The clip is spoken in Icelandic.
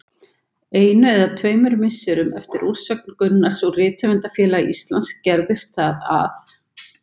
Einu eða tveimur misserum eftir úrsögn Gunnars úr Rithöfundafélagi Íslands gerðist það að